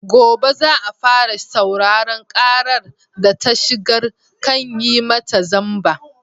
Gobe za a fara sauraron ƙarar da ta shigar kan yi mata zamba.